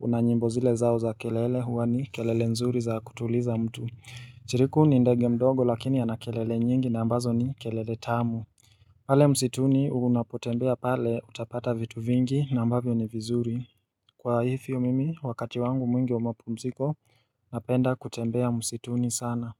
una nyimbo zile zao za kelele huwa ni kelele nzuri za kutuliza mtu Chiriku ni ndege mdogo lakini ana kelele nyingi na ambazo ni kelele tamu pale msituni unapotembea pale utapata vitu vingi na ambavyo ni vizuri. Kwa hivyo mimi wakati wangu mwingi wa mapumziko napenda kutembea msituni sana.